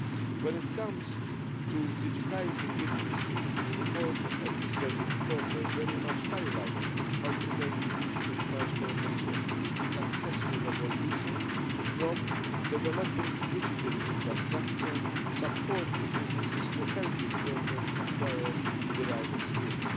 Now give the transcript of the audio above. When it comes to digitising industry, the report by Mr Bütikofer very much highlights how to make the digital transformation a successful revolution, from developing digital infrastructure supporting businesses to helping workers acquire the right skills.